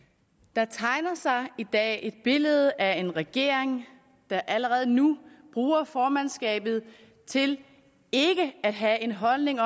der tegner sig i dag et billede af en regering der allerede nu bruger formandskabet til ikke at have en holdning